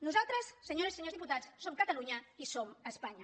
nosaltres senyores i senyors diputats som catalunya i som espanya